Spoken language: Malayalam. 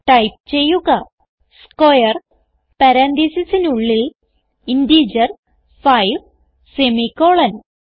ടൈപ്പ് ചെയ്യുക സ്ക്വയർ പരാൻതീസിസിനുള്ളിൽ ഇന്റഗർ 5 സെമിക്കോളൻ